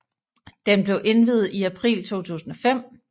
Den blev indviet i april 2005